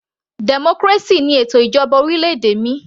Democracy ni ètò ìjọba orílẹ̀-èdè mi